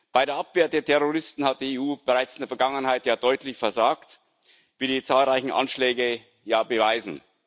Bei der Abwehr der Terroristen hat die EU bereits in der Vergangenheit ja deutlich versagt, wie die zahlreichen Anschläge beweisen.